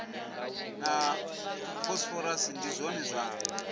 na phosphorus ndi zwone zwa